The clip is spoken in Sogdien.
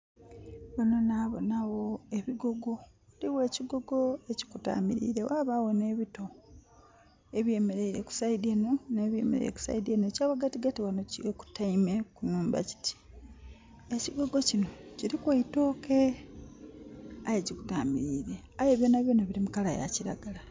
Ghano nabona gho ebigogo. Ghaligho ekigogo ekikutamiliire ghabagho n'ebito. Ebyemeleire ku saidi enho n'ebyemeleire ku saidi enho. Ekyaghatigati ghano kikutaime ku nhumba kiti. Ekigogo kinho kilku e itooke, aye kikutamiliire. Aye byonbyona bili mu kala ya kiragala.